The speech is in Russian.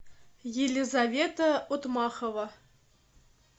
елизавета отмахова